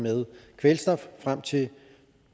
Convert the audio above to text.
med kvælstof frem til